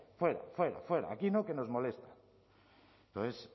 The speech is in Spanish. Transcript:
fuera fuera fuera aquí no que nos molesta entonces